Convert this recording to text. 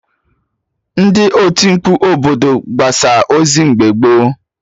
Ndị oti mkpu obodo na-agbasa ozi mgbe gboo